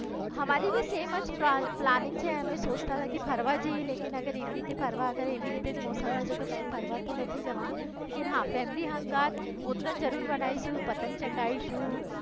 અમારી પણ શેમજ પ્લાનિંગ છે અમે સોચતાં કે ફરવા જઈ લેકિન અગર એવી રીતે ફરવા તો એવી રીતે મોસમ રેશે તો કઇ ફરવા તો નથી જવાનું. હા ફેમિલી હંગાથ ઉતરાયણ જરૂર મનાઈ શું પતંગ ચગાવી શું